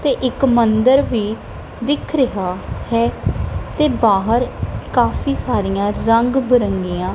ਤੇ ਇੱਕ ਮੰਦਿਰ ਵੀ ਦਿੱਖ ਰਿਹਾ ਹੈ ਤੇ ਬਾਹਰ ਕਾਫੀ ਸਾਰਿਆਂ ਰੰਗ ਬਿਰੰਗੀਆਂ--